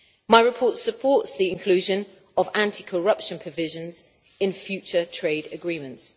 My report supports the inclusion of anti corruption provisions in future trade agreements.